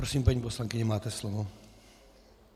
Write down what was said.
Prosím, paní poslankyně, máte slovo.